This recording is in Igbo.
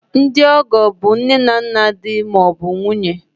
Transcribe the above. Ndị ọgọ bụ nne na nna di ma ọ bụ nwunye